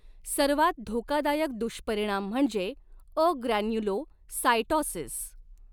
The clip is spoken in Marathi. सर्वात धोकादायक दुष्परिणाम म्हणजे अग्रॅन्युलोसायटॉसिस